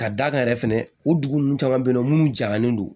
Ka d'a kan yɛrɛ fɛnɛ u dugu ninnu caman bɛ yen nɔ minnu jagalen don